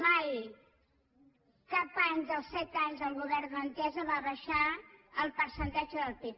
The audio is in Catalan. mai cap any dels set anys el govern d’entesa va baixar el percentatge del pib